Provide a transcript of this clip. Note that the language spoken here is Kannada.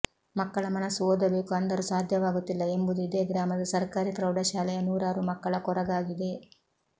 ಮಕ್ಕಳ ಮನಸ್ಸು ಓದಬೇಕು ಅಂದರೂ ಸಾಧ್ಯವಾಗುತ್ತಿಲ್ಲ ಎಂಬುದು ಇದೇ ಗ್ರಾಮದ ಸರ್ಕಾರಿ ಪ್ರೌಢಶಾಲೆಯ ನೂರಾರು ಮಕ್ಕಳ ಕೊರಗಾಗಿದೆ